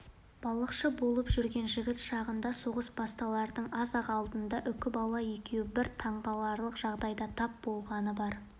балықшы болып жүрген жігіт шағында соғыс басталардың аз-ақ алдында үкібала екеуі бір таңғаларлық жағдайға тап болғаны бар